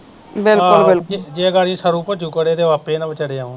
ਆਪੇ ਨਾ ਵਚਾਰੇ ਆਉਣ